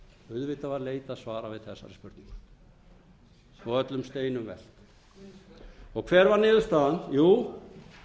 auðvitað var leitað svara við þessari spurningu og öllum steinum velt hver var niðurstaðan jú